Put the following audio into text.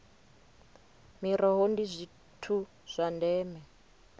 miroho ndi zwithu zwa ndeme